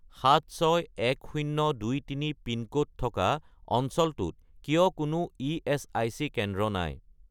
761023 pin code থকা অঞ্চলটোত কিয় কোনো ইএচআইচি কেন্দ্র নাই?